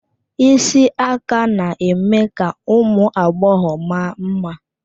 Isi aka na-eme ka ụmụ agbọghọ ma mma.